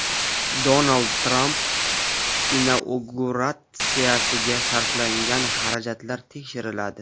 Donald Tramp inauguratsiyasiga sarflangan xarajatlar tekshiriladi.